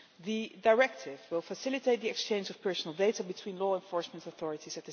The directive will facilitate the exchange of personal data between law enforcement authorities.